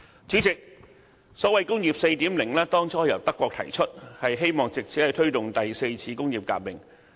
主席，"工業 4.0" 最初由德國提出，希望藉此推動第四次工業革命。